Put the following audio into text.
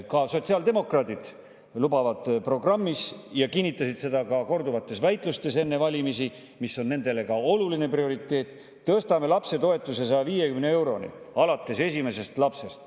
Ka sotsiaaldemokraadid lubasid programmis ja kinnitasid ka korduvates väitlustes enne valimisi, et see on nende oluline prioriteet: "Tõstame lapsetoetuse 150 euroni alates esimesest lapsest.